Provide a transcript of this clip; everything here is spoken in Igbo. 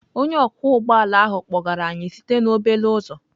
Onye ọkwọ ụgbọ ala ahụ kpọgara anyị site na obele uzọ.